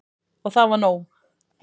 Og það var nóg.